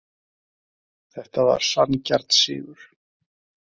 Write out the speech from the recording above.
Þetta var sanngjarn sigur.